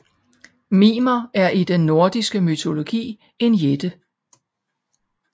Mimer er i den nordiske mytologi en jætte